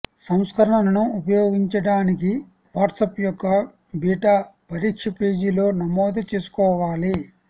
సంస్కరణను ఉపయోగించడానికి వాట్సాప్ యొక్క బీటా పరీక్ష పేజీలో నమోదు చేసుకోవాలి